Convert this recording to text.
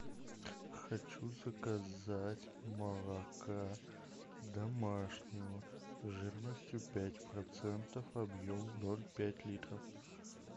хочу заказать молока домашнего жирностью пять процентов объем ноль пять литров